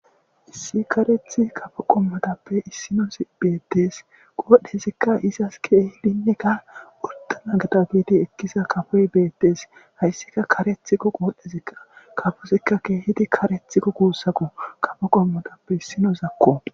Issi kareththa kaffo qommotappe issinozi bettes qodhdhezikka izzasi kehidineka orddana giddi ekkiza kaffoy bettes hayssika kareththikko qodhdhezi kaffozika kehidi kareththiko gussako kaffo qommotappe issinozako.